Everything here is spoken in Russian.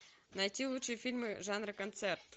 найти лучшие фильмы жанра концерт